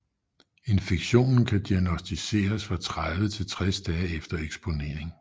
Infektionen kan diagnosticeres fra 30 til 60 dage efter eksponering